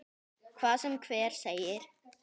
Hvað sem hver segir.